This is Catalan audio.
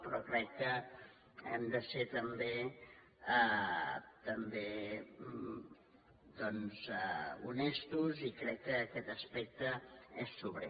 però crec que hem de ser també honestos i crec que aquest aspecte és sobrer